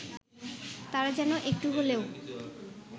তারা যেন একটু হলেও